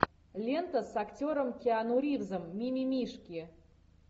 лента с актером киану ривзом мимимишки